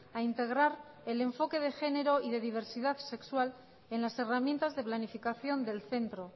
a integrar el enfoque de género y de diversidad sexual en las herramientas de planificación del centro